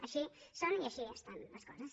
així són i així estan les coses